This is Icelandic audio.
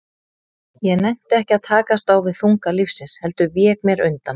Ég nennti ekki að takast á við þunga lífsins, heldur vék mér undan.